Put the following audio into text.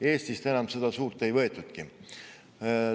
Eestist seda suurt enam ei võetudki.